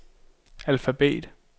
alfabet